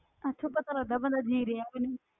ਇੱਥੋਂ ਪਤਾ ਲੱਗਦਾ ਬੰਦਾ